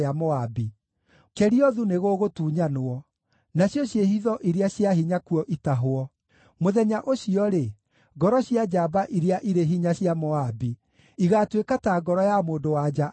Keriothu nĩgũgũtunyanwo, nacio ciĩhitho iria cia hinya kuo itahwo. Mũthenya ũcio-rĩ, ngoro cia njamba iria irĩ hinya cia Moabi igaatuĩka ta ngoro ya mũndũ-wa-nja akĩrũmwo.